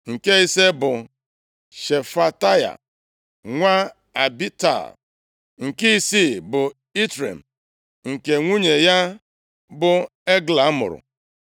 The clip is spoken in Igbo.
Nke ise bụ Shefataya, nwa Abital. Nke isii bụ Itream, nke nwunye ya bụ Egla mụrụ.